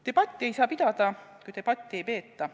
Debatti ei saa pidada, kui debatti ei peeta.